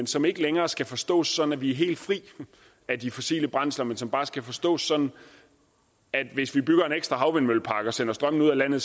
som ikke længere skal forstås sådan at vi er helt fri af de fossile brændsler men som bare skal forstås sådan at hvis vi bygger en ekstra havvindmøllepark og sender strømmen ud af landet